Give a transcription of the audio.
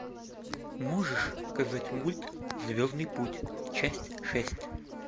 можешь показать мульт звездный путь часть шесть